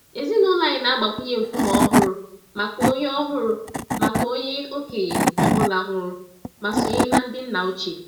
Ezinụlọ anyị na-agbakwunye nkume ọhụrụ maka onye ọhụrụ maka onye okenye ọ bụla nwụrụ ma sonye na ndị nna ochie.